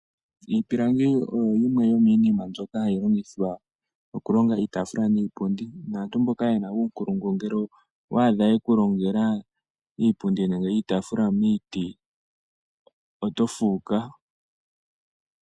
Iipilangi oyo yimwe yomiinima mbyoka hayi longithwa okulonga iitafula niipundi naantu mboka yena uunkulungu ngele owa adha yekulongela iipundi nenge iitaafula miiti, oto fuuka.